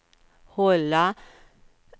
hålla